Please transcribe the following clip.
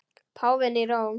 Páfinn í Róm.